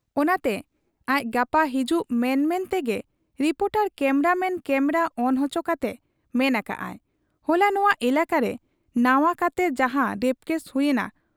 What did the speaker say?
ᱚᱱᱟᱛᱮ ᱟᱡ ᱜᱟᱯᱟ ᱦᱤᱡᱩᱜ ᱢᱮᱱᱢᱮᱱ ᱛᱮᱜᱮᱨᱤᱯᱚᱴᱚᱨ ᱠᱮᱢᱨᱟ ᱢᱮᱱ ᱠᱮᱢᱨᱟ ᱚᱱ ᱚᱪᱚ ᱠᱟᱛᱮ ᱢᱮᱱ ᱟᱠᱟᱜ ᱟᱭ, 'ᱦᱚᱞᱟ ᱱᱚᱶᱟ ᱮᱞᱟᱠᱟᱨᱮ ᱱᱟᱶᱟ ᱠᱟᱛᱮ ᱡᱟᱦᱟᱸ ᱨᱮᱯᱠᱮᱥ ᱦᱩᱭ ᱮᱱᱟ